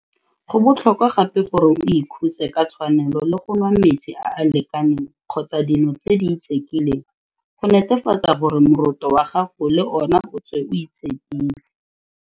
Go botlhokwa gape gore o ikhutse ka tshwanelo le go nwa metsi a a lekaneng kgotsa dino tse di itshekileng go netefatsa gore moroto wa gago le ona o tswe o itshekile.